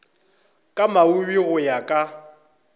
ka moabi go ya ka